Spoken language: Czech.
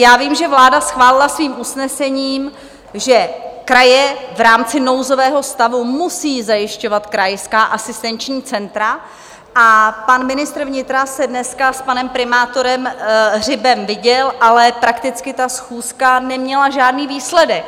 Já vím, že vláda schválila svým usnesením, že kraje v rámci nouzového stavu musí zajišťovat krajská asistenční centra, a pan ministr vnitra se dneska s panem primátorem Hřibem viděl, ale prakticky ta schůzka neměla žádný výsledek.